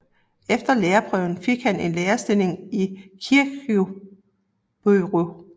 Efter lærerprøven fik han en lærerstilling i Kirkjubøur